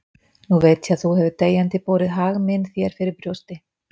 Nú veit ég að þú hefur deyjandi borið hag minn þér fyrir brjósti.